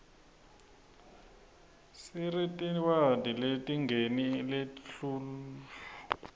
siretiniwadi letingeni lethluluif